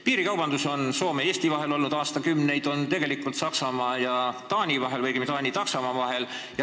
Piirikaubandus on Soome ja Eesti vahel olnud aastakümneid, samuti Saksamaa ja Taani vahel, õigemini Taani ja Saksamaa vahel.